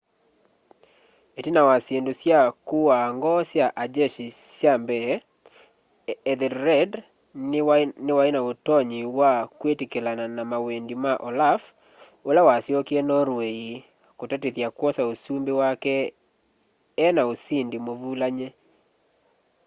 itina wa syindu sya kuaa ngoo sya a jeshi sya mbee ethelred niwai na utonyi wa kwitikilana na mawendi ma olaf ula wasyokie norway kutatithya kwosa usumbi wake ena usindi muvulany'e